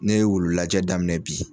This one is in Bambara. N'e ye wululajɛ daminɛ bi